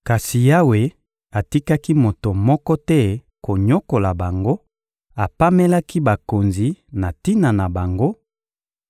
kasi Yawe atikaki moto moko te konyokola bango, apamelaki bakonzi na tina na bango: